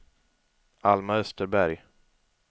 Alma Österberg